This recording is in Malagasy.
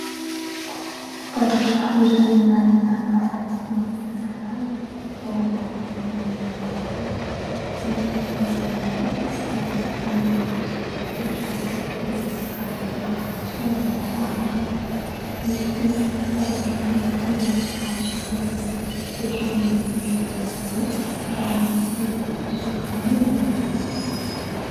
Latabatra iray ahitana sakafo maro isan-karazany. Ao anaty lovia miloko fotsy, misy vera iray ary ahitana labozia mirehitra ao anatiny ary misy rano kosa eo ambaniny. Misy latabatra miloko hazo kely ipetrahan'ny vera miisa roa ary misy zava-pisotro mamy ao anatin'ireo.